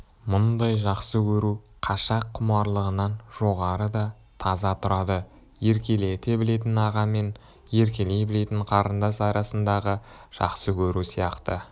мұндай жақсы көру қашақ құмарлығынан жоғары да таза тұрады еркелете білетін аға мен еркелей білетін қарындас арасындағы жақсы көру сияқты